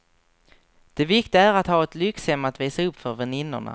Det viktiga är att ha ett lyxhem att visa upp för väninnorna.